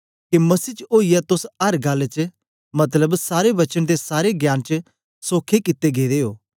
के मसीह च ओईयै तोस अर गल्ल च मतलब सारे वचन ते सारे ज्ञान च सोखे कित्ते गेदे ओ